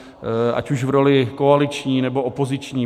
Ať už v roli koaliční, nebo opoziční.